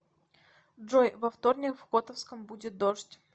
джой во вторник в котовском будет дождь